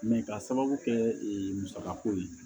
ka sababu kɛ ee musaka ko ye